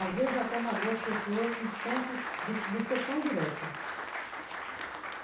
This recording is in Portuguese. Às vezes até magoa as pessoas de ser tão direta.